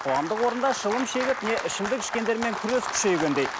қоғамдық орында шылым шегіп не ішімдік ішкендермен күрес күшейгендей